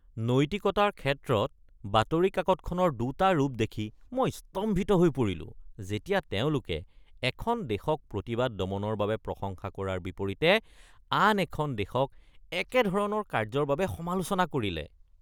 নৈতিকতাৰ ক্ষেত্ৰত বাতৰি কাকতখনৰ দুটা ৰূপ দেখি মই স্তম্ভিত হৈ পৰিলোঁ, যেতিয়া তেওঁলোকে এখন দেশক প্ৰতিবাদ দমনৰ বাবে প্ৰশংসা কৰাৰ বিপৰীতে আন এখন দেশক একেধৰণৰ কাৰ্য্যৰ বাবে সমালোচনা কৰিলে।